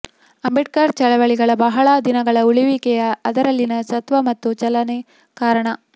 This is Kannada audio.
ಅಂಬೇಡ್ಕರ್ ಚಳವಳಿಗಳ ಬಹಳ ದಿನಗಳ ಉಳಿವಿಗೆ ಅದರಲ್ಲಿನ ಸತ್ವ ಮತ್ತು ಚಲನೆ ಕಾರಣ